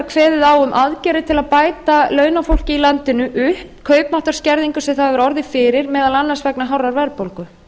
kveðið á um aðgerðir til að bæta launafólki í landinu upp kaupmáttarskerðingu sem það hefur orðið fyrir meðal annars vegna hárrar verðbólgu